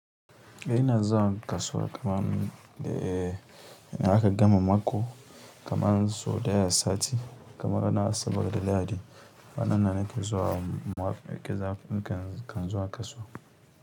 Eh ina zuwan kasuwa kaman e, in aka gama mako kaman sau ɗaya a sati, kaman rana asabar da lahadi, kwan nan nake zuwa mu ke zamu kan zuwa kasuwa.